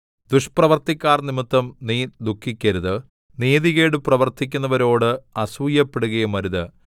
ദുഷ്പ്രവൃത്തിക്കാർനിമിത്തം നീ ദുഃഖിക്കരുത് നീതികേട് പ്രവർത്തിക്കുന്നവരോട് അസൂയപ്പെടുകയുമരുത്